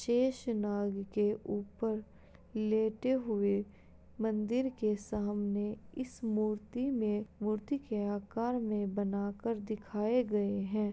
शेषनाग के ऊपर लेटे हुए मंदिर के सामने इस मूर्ति में मूर्ति के आकार में बनाकर दिखाए गए हैं।